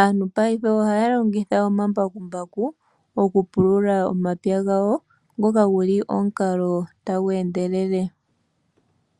aantu paife ohaya longitha omambakumbaku okupulula omapya gawo, ngoka oguli omukalo tagu endelele.